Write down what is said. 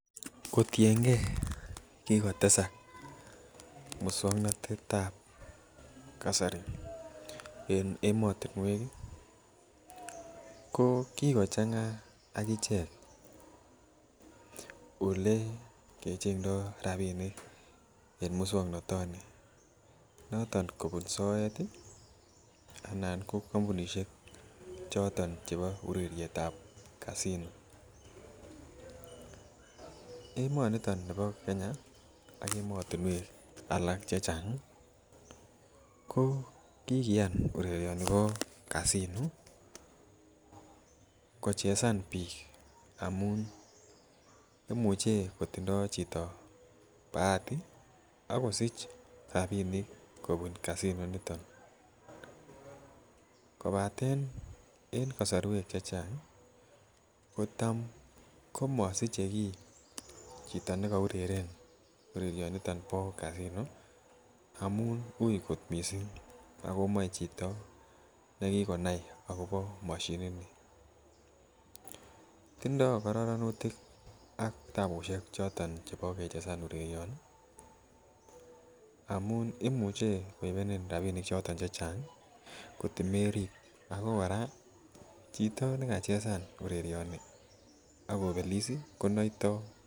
Kotiengee kikotesak muswongnotet ab kasari en emotinwek ih ko kikochang'a ak ichek olekechengdo rapinik en muswongnotoni noton kobun soet ih anan ko kampunisiek choton chebo ureriet ab casino. Emoniton nibo Kenya ak emotinwek alak chechang ih ko kikiyan urerioni bo casino kochesan biik amun imuche kotindoo chito bahati akosich rapinik kobun casino initon kobaten en kosorwek chechang kotam komosiche kiy chito nekoureren urerioniton bo casino amun uui kot missing ako moe chito nekikonai akobo moshinit ni. Tindoo kororonutik ak tabusiek choton chebo kechesan urerioni amun imuche koibenin rapinik choton chechang kot merib ako kora chito nekachesan urerioni ak kobelis ih konoitoo